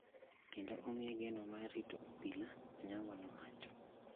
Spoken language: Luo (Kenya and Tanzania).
kendo omiye geno mar rito obila," Onyango nowacho.